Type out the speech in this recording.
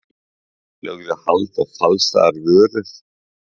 Lögðu hald á falsaðar vörur